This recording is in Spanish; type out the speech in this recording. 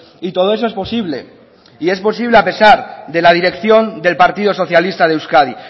y todo eso es posible y es posible a pesar de la dirección del partido socialista de euskadi